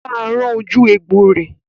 Bá a rán ojú egbò rẹ̀!